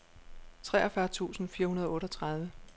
treogfyrre tusind fire hundrede og otteogtredive